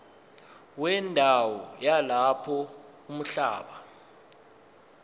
wendawo yalapho umhlaba